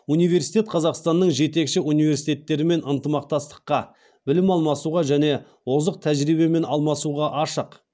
университет қазақстанның жетекші университеттерімен ынтымақтастыққа білім алмасуға және озық тәжірибемен алмасуға ашық